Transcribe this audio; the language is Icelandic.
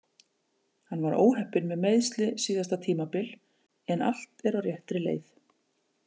Hann var óheppinn með meiðsli síðasta tímabil en allt er á réttri leið.